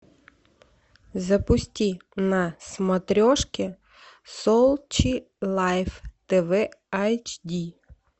запусти на смотрешке сочи лайф тв айч ди